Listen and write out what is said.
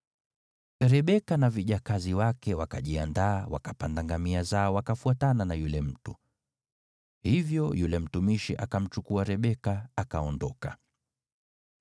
Rebeka na vijakazi wake wakajiandaa, wakapanda ngamia zao wakafuatana na yule mtu. Hivyo yule mtumishi akamchukua Rebeka akaondoka.